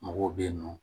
Mɔgɔw bɛ yen nɔ